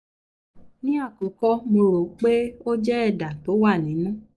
ní àkọ́kọ́ mo rò pé ó jẹ́ ẹ̀dà tó wà nínú